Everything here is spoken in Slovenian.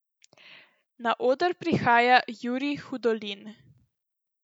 Na oder prihaja Jurij Hudolin.